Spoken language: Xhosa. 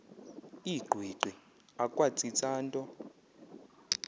ingqwiqi akwatsitsa nto